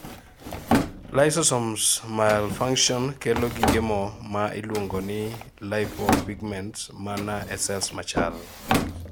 lysosomes mulfunction kelo gige moo ma iluongo ni lipopigments mana ee cells machal